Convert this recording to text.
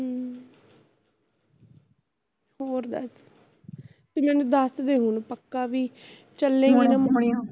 ਤੂੰ ਮੇਨੂ ਦਸਦੇ ਹੁਣ ਪੱਕਾ ਵੀ ਚਲੇਗੀ ਨਾ